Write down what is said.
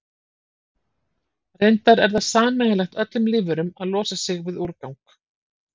Reyndar er það sameiginlegt öllum lífverum að losa sig við úrgang.